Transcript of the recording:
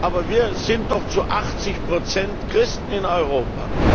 Aber wir sind doch zu 80 Prozent Christen in Europa!